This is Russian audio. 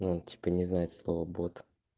ну типа не знает слово бот